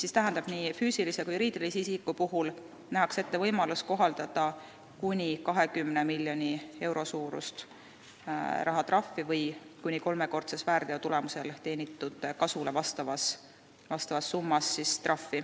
See tähendab, et nii füüsilise kui ka juriidilise isiku puhul nähakse ette võimalus kohaldada kuni 20 miljoni euro suurust rahatrahvi või trahvi, mille suurus vastab väärteo tulemusel teenitud tasu kuni kolmekordsele summale.